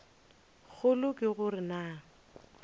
kgolo ke go re na